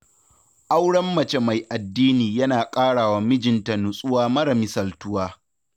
Auren mace mai addini yana ƙarawa mijinta nutsuwa mara misaltuwa